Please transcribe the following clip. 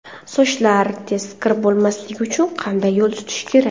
Sochlar tez kir bo‘lmasligi uchun qanday yo‘l tutish kerak?